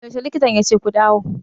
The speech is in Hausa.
Yaushe likitan yace ku dawo?